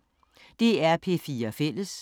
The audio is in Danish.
DR P4 Fælles